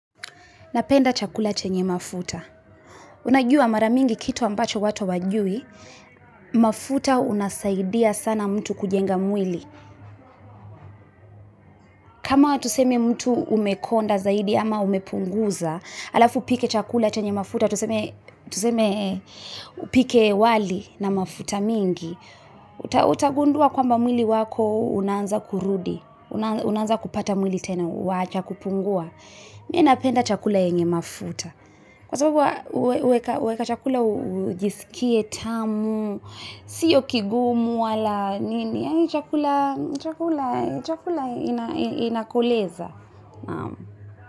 Na penda chakula chenye mafuta Una jua mara mingi kitu ambacho watu hawajui mafuta una saidia sana mtu kujenga mwili kama tuseme mtu umekonda zaidi ama umepunguza alaf upike chakula chenye mafuta tuseme upike wali na mafuta mingi Utagundua kwamba mwili wako unaanza kurudi Unaanza kupata mwili tena, waacha kupungua Mie napenda chakula chenye mafuta Kwa sababu huweka chakula ujiskie tamu sio kigumu wala nini chakula inakoleza.